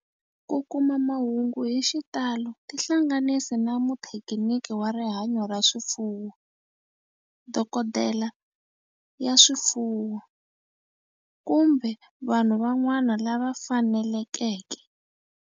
Ku kuma mahungu hi xitalo tihlanganisi na muthekiniki wa rihanyo ra swifuwo, dokodela ya swifuwo, kumbe vanhu van'wana lava fanelekeke.